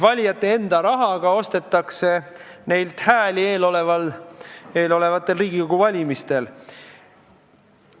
Valijate enda rahaga ostetakse neilt hääli eelolevatel Riigikogu valimistel.